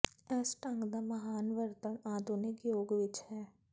ਇਸ ਢੰਗ ਦਾ ਮਹਾਨ ਵਰਤਣ ਆਧੁਨਿਕ ਯੁੱਗ ਵਿੱਚ ਹੈ